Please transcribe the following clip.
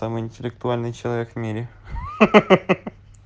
самый интеллектуальный человек в мире ха-ха